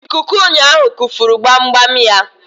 Ikuku ụnyaahụ kufuru gbamgbam ya.